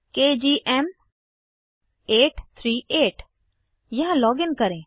केजीएम838 यहाँ लॉगिन करें